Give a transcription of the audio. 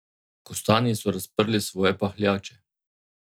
Kostanji so razprli svoje pahljače.